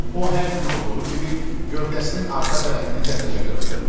O hər gün olduğu kimi gövdəsinin arxa tərəfini təzəcə qırxdırmışdı.